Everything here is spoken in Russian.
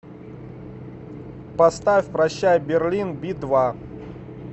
поставь прощай берлин би два